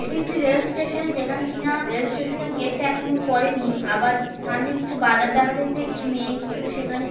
এটি একটি rail station যেখানে কিনা আ রেল স্টেশন এ গেটটা এখনও পড়েনি আবার কি সামনে কিছু বাজার দেখা যাচ্ছে একটি মেয়ে কিছু সেখানে--